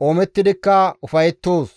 qoomettidikka ufayettoos.